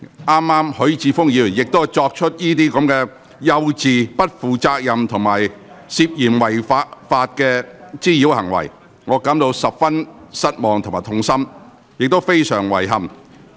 剛才許智峯議員亦作出這些幼稚、不負責任並涉嫌違法的滋擾行為，令我感到十分失望及痛心，亦非常遺憾。